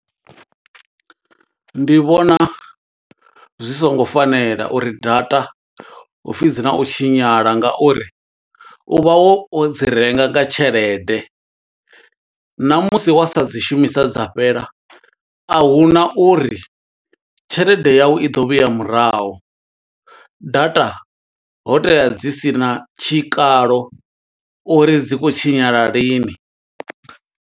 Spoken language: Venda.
Ndi vhona zwi songo fanela uri data hu pfi dzi na u tshinyala, nga uri u vha wo dzi renga nga tshelede. Na musi wa sa dzi shumisa dza fhela, a huna uri tshelede yau i ḓo vhuya murahu, data ho tea dzi sina tshikalo, uri dzi khou tshinyala lini.